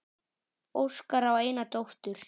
Óskar á eina dóttur.